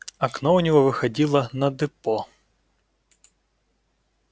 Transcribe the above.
окно у него выходило на депо